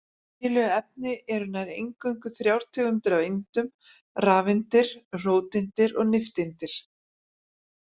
Í venjulegu efni eru nær eingöngu þrjár tegundir af eindum: rafeindir, róteindir og nifteindir.